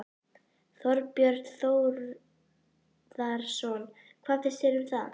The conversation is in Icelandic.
Þorbjörn Þórðarson: Hvað finnst þér um það?